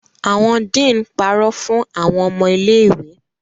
Awọn dean parọ fun awọn ọmọ ile-iwe